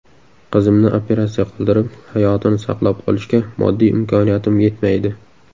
Qizimni operatsiya qildirib, hayotini saqlab qolishga moddiy imkoniyatim yetmaydi.